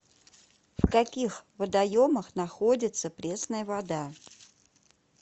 в каких водоемах находится пресная вода